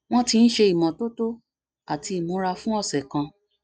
wọn ti ń ṣe ìmọtótó àti imura fún ọsẹ kan